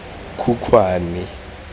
khukhwane